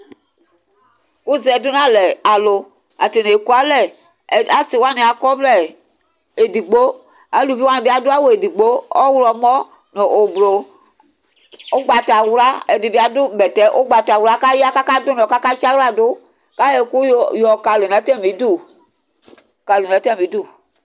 Kʋzɛ dʋnʋ alɛ alʋ atani ɛkʋ alɛ asiwani akɔ ɔvlɛ edigbo alʋvi wani bi adʋ awʋ edigbo, ɔwlɔmɔ nʋ ʋblʋ, ʋgbatawla, ɛdibi adʋ bɛtɛ ʋgbatawla kʋ aya kʋ adʋ ʋnɔ kʋ akatsi aɣladʋ kayɔ ɛkʋ yɔkali nʋ atami idʋ